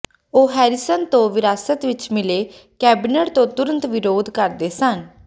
ਉਹ ਹੈਰੀਸਨ ਤੋਂ ਵਿਰਾਸਤ ਵਿਚ ਮਿਲੇ ਕੈਬਿਨੇਟ ਤੋਂ ਤੁਰੰਤ ਵਿਰੋਧ ਕਰਦੇ ਸਨ